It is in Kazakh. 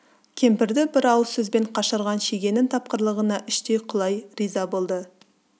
кемпірді бір ауыз сөзбен қашырған шегенің тапқырлығына іштей құлай риза болды